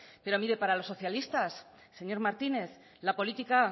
pero mire para los socialistas señor martínez la política